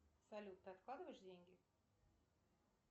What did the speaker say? салют ты откладываешь деньги